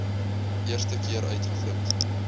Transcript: eerste keer uitgevind